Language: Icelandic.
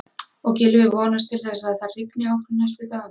Og Gylfi vonast til þess að það rigni áfram næstu daga?